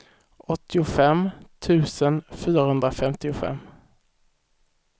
åttiofem tusen fyrahundrafemtiofem